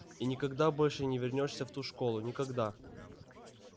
и никогда больше не вернёшься в ту школу никогда